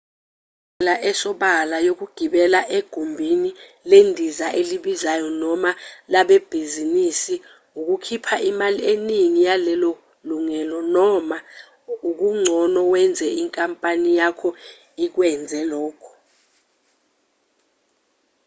indlela esobala yokugibela egumbini lendiza elibizayo noma labebhizinisi ukukhipha imali eningi yalelo lungelo noma okugcono wenze inkampani yakho ikwenzele lokho